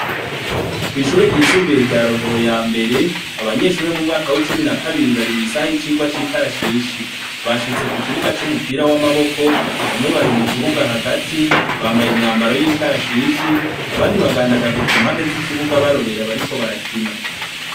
Kw'ishure ryisumbuye rya rohero ya mbere, abanyeshurure mu mwaka w'icumi na kabiri bari mw'isaha y'icirwa c'ikarashishi, bashitse ku kibuga c'umupira w'amaboko bamwe bari mu kibuga hagati bambaye imyambaro y'ikarashishi abandi bagandagaje ku mpande z'ikibuga barorera bariko barakina.